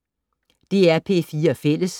DR P4 Fælles